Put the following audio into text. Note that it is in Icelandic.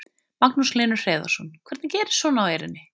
Magnús Hlynur Hreiðarsson: Hvernig gerist svona á Eyrinni?